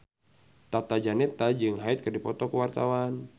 Tata Janeta jeung Hyde keur dipoto ku wartawan